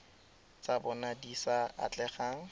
tsa bona di sa atlegang